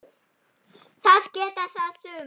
Það geta það sumir.